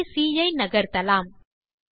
புள்ளி சி ஐ நகர்த்தலாம்